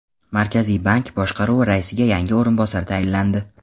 Markaziy bank boshqaruvi raisiga yangi o‘rinbosar tayinlandi.